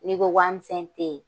N'i ko waamisɛn te ye